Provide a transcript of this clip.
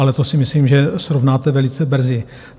Ale to si myslím, že srovnáte velice brzy.